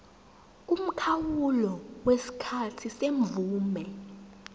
umkhawulo wesikhathi semvume